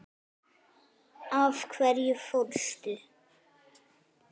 Af hverju fórstu?